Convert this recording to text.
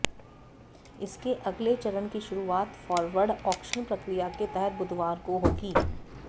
इसके अगले चरण की शुरुआत फॉरवॉर्ड ऑक्शन प्रक्रिया के तहत बुधवार को होगी